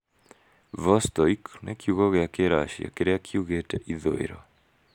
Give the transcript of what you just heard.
'Vostoik'' nĩ kiugo gĩa Kĩracia kĩrĩa kiugĩte "ithũĩro".